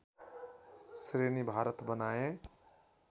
श्रेणी भारत बनाएँ